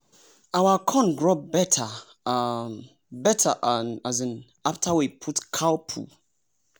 our corn grow better um better um after we put cow poo.